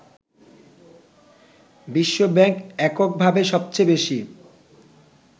বিশ্ব ব্যাংক এককভাবে সবচেয়ে বেশি